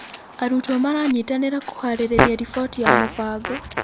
Arutwo maranyitanĩra kũharĩrĩria riboti ya mũbango.